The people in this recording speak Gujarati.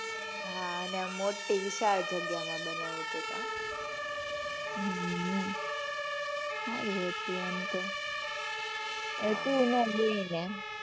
હાં અને મોટી વિશાળ જગ્યા માં બનાવ્યું તું કાં? હમ્મ હમ્મ સારું હતું એમ તો. તું નાં ગઈ ને.